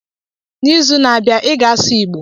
n'izu na-abịa, ị ga-asụ igbo!